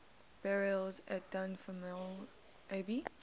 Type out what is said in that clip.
burials at dunfermline abbey